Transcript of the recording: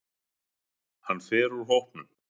Hann fer úr hópnum.